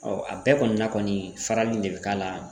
a bɛɛ kɔni na kɔni farali de bɛ k'a la